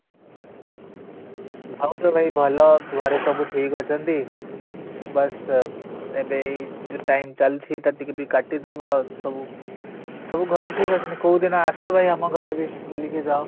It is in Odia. ଭାଉଜ ଭାଇ ଭଲ ଘରେ ସବୁ ଠିକ ଅଛନ୍ତି ବାସ ଏବେ ଏଇ ଯୋଉ time ଚାଲିଛି ଏଇଟା ବି ଟିକେ କାଟିଦେବା ସବୁ ସବୁ ଘରେ ଠିକ ଅଛନ୍ତି କୋଉଦିନ ଭାଇ ଆସ ଆମ ଘରେ ବି ବୁଲିକି ଯାଅ